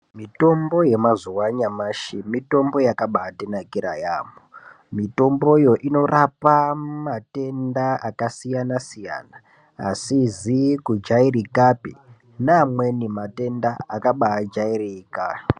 Mitombo yemazuwa anyamashi, mitombo yakabaatinakira yaamho. Mitomboyo inorapa matenda akasiyana-siyana, asizi kujairikapi, neamweni matenda akabaajairika.